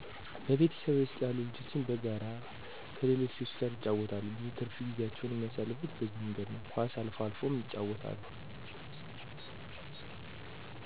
በቤተሰቤ ውስጥ ያሉ ልጆች በጋራ ከሌሎች ልጆች ጋር ይጫወታሉ። ብዙ ትርፍ ጊዜያቸውንም የሚያሳልፉት በዚህ መንገድ ነው። ኳስ አልፎ አልፎ ያጫውታሉ